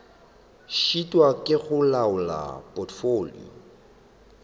šitwa ke go laola potfolio